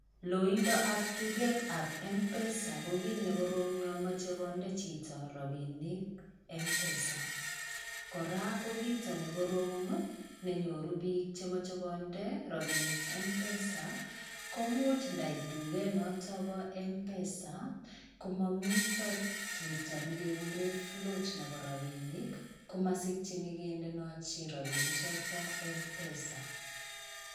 Looindap dugetabm-pesa kokiit nekoroom missing yamachei chito konde robinik m-pesa. Kora ko kiito ne koroom nenyoru biik chemochei konde robinik m-pesa. Komuch ndait duket noto bo m-pesa komamitoo kito nekegurei float nebo robinik. Komasikyini kendonoji robinichoto m-pesa.